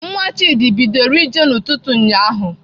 Nwa Chidi bidoro ije n'ụtụtụ ụnyaahụ.